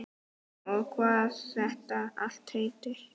Og hvað þetta allt heitir.